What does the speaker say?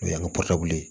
O y'an ka ye